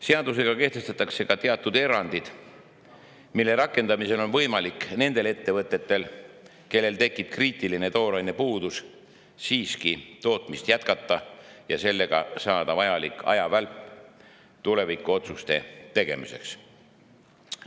Seadusega kehtestatakse ka teatud erandid, mille rakendamisel on võimalik nendel ettevõtetel, kellel tekib kriitiline tooraine puudus, tootmist siiski jätkata ja saada sellega vajalik ajavälp tulevikuotsuste tegemiseks.